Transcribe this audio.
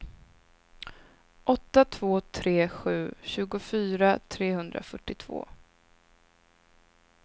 åtta två tre sju tjugofyra trehundrafyrtiotvå